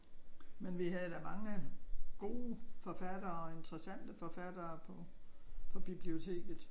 Men vi havde da mange gode forfattere og interessante forfattere på biblioteket